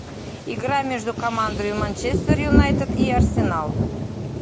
игра между командами манчестер юнайтед и арсенал